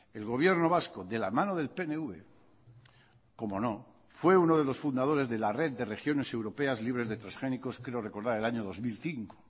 el gobierno vasco de la mano del pnv cómo no fue uno de los fundadores de la red de regiones europeas libres de transgénicos creo recordar el año dos mil cinco